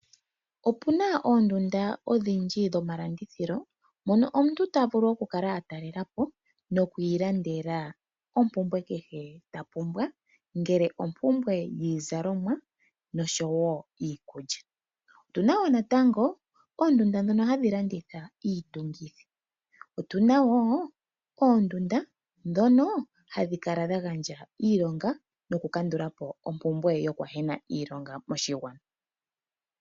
Opuna oondunda odhindji dhomalandithilo dhono omuntu ta vulu oku kala a talela po, nokwiilandela oompumbwe kehe ta pumbwa, ngele ompumbwe dhiizalomwa osho woo iikulya. Opu na woo natango oondunda dhoka ha dhi landitha iitungitho, otu na woo oondunda dhono ha dhi kala dha gandja iilonga noku kandula po ompumbwe ho kwahena iilonga moshigwana.